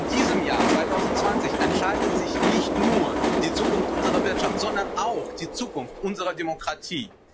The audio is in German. Aber in diesem Jahr 2020 entscheidet sich nicht nur die Zukunft unserer Wirtschaft, sondern auch die Zukunft unserer Demokratie.